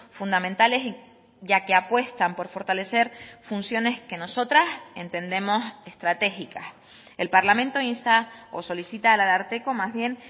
fundamentales ya que apuestan por fortalecer funciones que nosotras entendemos estratégicas el parlamento insta o solicita al ararteko más bien